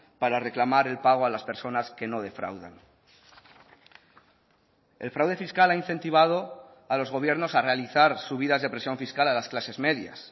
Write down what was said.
para reclamar el pago a las personas que no defraudan el fraude fiscal ha incentivado a los gobiernos a realizar subidas de presión fiscal a las clases medias